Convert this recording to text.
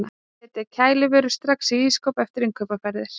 setja kælivörur strax í ísskáp eftir innkaupaferðir